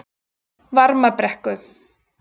Varmabrekku